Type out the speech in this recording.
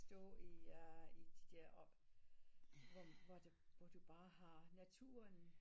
Stå i ja de der op hvor hvor du bare har naturen